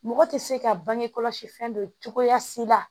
Mɔgɔ tɛ se ka bangekɔlɔsi fɛ cogoya si la